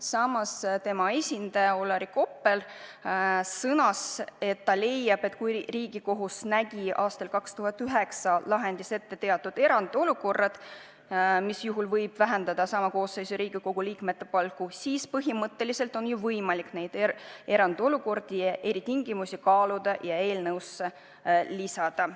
Samas tema esindaja Olari Koppel sõnas, et ta leiab, et kui Riigikohus nägi aastal 2009 oma lahendis ette teatud erandolukorrad, mis juhul võib vähendada sama koosseisu Riigikogu liikmete palku, siis põhimõtteliselt on võimalik neid erandolukordi ja eritingimusi kaaluda ja midagi seadusse lisada.